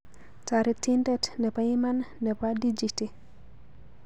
Toretindet nebo iman nebo dichiti